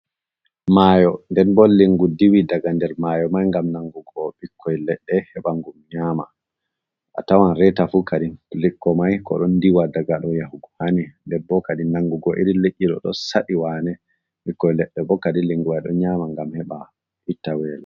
Mayo. nɗen bo lingu ɗiwi ɗaga nɗer mayo mai gam nangugo bikkoi leɗɗe heba ngam nyama. A tawan reta fu kaɗin likko mai ko ɗon ɗiwa ɗaga ɗow yahugo hani. Nɗer bo kaɗin nangugo iri liiɗi ɗo saɗi wanee. Bikkoi ledɗe bo kaɗi linguwai ɗon nyama ngam heɓa itta welo.